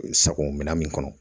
Sago minɛn min kɔnɔ